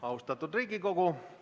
Austatud Riigikogu!